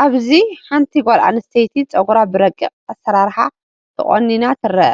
ኣብዚ ሓንቲ ጓል ኣንስተይቲ ጸጉራ ብረቂቕ ኣሰራርሓ ተቆኒና ትርአ።